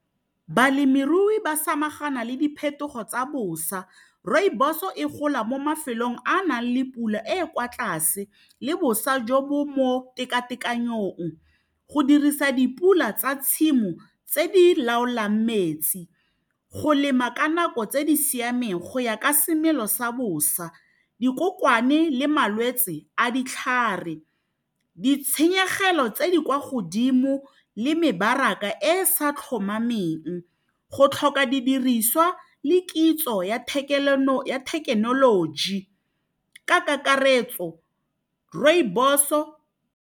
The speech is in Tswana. Balemirui ba samagana le diphetogo tsa bosa rooibos-o e gola mo mafelong a a nang le pula e e kwa tlase le bosa jo bo mo tekatekanong go dirisa dipula tsa tshimo tse di laolang metsi go lema ka nako tse di siameng go ya ka semelo sa bosa dikokwane le malwetse a ditlhare ditshenyegelo tse di kwa godimo le mebaraka e sa tlhomameng go tlhoka didiriswa le kitso ya thekenoloji ka kakaretso rooibos-o